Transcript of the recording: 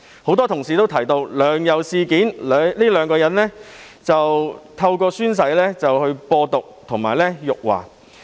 多位同事均提到，在"梁游"事件中，兩人透過宣誓來"播獨"及辱華。